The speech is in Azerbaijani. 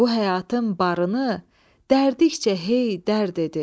Bu həyatın barını dərdikcə, hey dərd edi.